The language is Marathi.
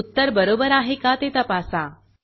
उत्तर बरोबर आहे का ते तपासा